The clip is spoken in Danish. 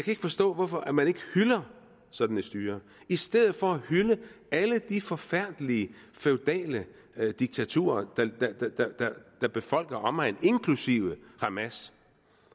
ikke forstå hvorfor man ikke hylder sådan et styre i stedet for at hylde alle de forfærdelige feudale diktaturer der befolker omegnen inklusive hamas